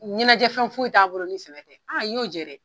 Ɲɛnajɛfɛn foyi t'a bolo ni sɛbɛ tɛ a i y'o jɛ dɛ!